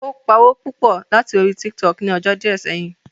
Ó pawó púpọ̀ láti púpọ̀ láti orí Tiktok ni ọjọ́ díẹ̀ sẹ́yìn